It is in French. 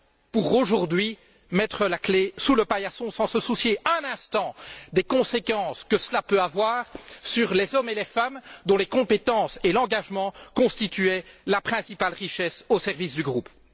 pour aujourd'hui mettre la clé sous le paillasson sans se soucier un instant des conséquences que cela peut avoir sur les hommes et les femmes dont les compétences et l'engagement constituaient la principale richesse au service du groupe.